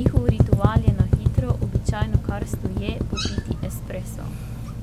njihov ritual je na hitro, običajno kar stoje, popiti espresso.